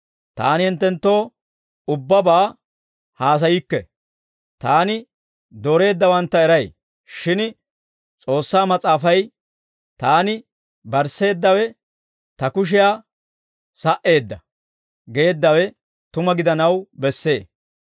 «Taani hinttenttoo ubbabaa haasayikke. Taani dooreeddawantta eray; shin S'oossaa Mas'aafay, ‹Taani barsseeddawe Ta kushiyaa sa"eedda› geeddawe tuma gidanaw bessee.